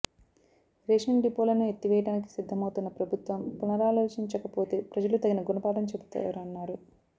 ration డిపోలను ఎత్తివేయడానికి సిద్ధమవుతున్న ప్రభుత్వం పునరాలోచించకపోతే ప్రజలు తగిన గుణపాఠం చెబుతారన్నారు